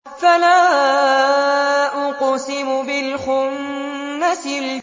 فَلَا أُقْسِمُ بِالْخُنَّسِ